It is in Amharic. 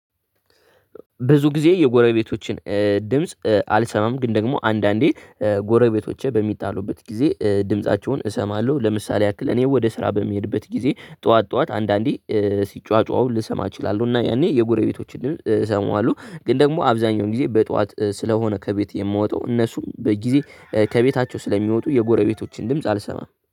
ብዙ ጊዜ የጎረቤቶቸን ድምጽ አልሰማም ግን ደግሞ አንዳንዴ ጎርቤቶቸ በሚታሉበት ጊዜ ድምፃቸውን እሰማለሁ። ለምሳሌ ያክል እኔ ወደ ስራ በምሄድበት ጊዜ ጥዋት ጥዋት አንዳንዴ ሲጮጯሁ ልስማ እችላለሁ። እና ያኔ የጎረቤቶቸ እስማዋለሁ። ግን ደግሞ አብዛኛውን ግዜ በጥዋት ስለሆነ ከቤት የምወጣው እነሱን በግዜ ከቤታቸው ስለሚወጡ የጎረቤቶቸን ድምጵ አልሰማም